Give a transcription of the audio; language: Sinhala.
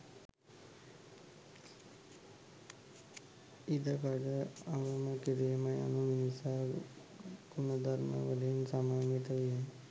ඉඩකඩ අවම කිරීම යනු මිනිසා ගුණධර්මවලින් සමන්විත වීමයි